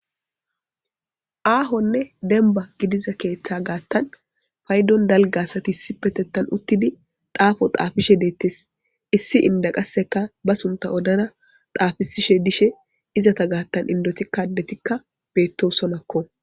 Ahonne demba gidida keeththa gaatan payidon daro asati isipeteththan utidi xafo xafishshe deettes issi inda qase ba sunta odada xafishishe dettes izeta gidon adetikka indoti betosonakko